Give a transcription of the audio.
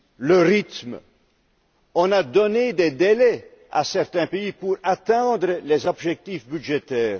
le rythme, on a donné des délais à certains pays pour atteindre les objectifs budgétaires.